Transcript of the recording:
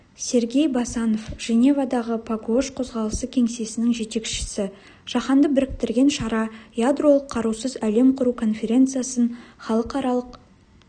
сергей басанов женевадағы пагуош қозғалысы кеңсесінің жетекшісі жаһанды біріктірген шара ядролық қарусыз әлем құру конференциясын халықаралық